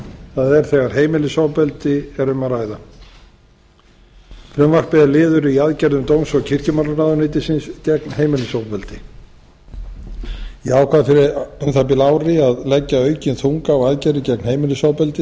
það er þegar heimilisofbeldi er um að ræða frumvarpið er liður í aðgerðum dóms og kirkjumálaráðuneytisins gegn heimilisofbeldi ég ákvað fyrir um það bil ári að leggja aukinn þunga á aðgerðir gegn heimilisofbeldi